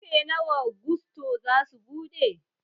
Ƙarfe nawa gusto zasu buɗe?